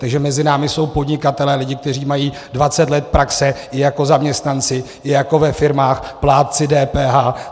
Takže mezi námi jsou podnikatelé, lidé, kteří mají 20 let praxe i jako zaměstnanci, i jako ve firmách, plátci DPH.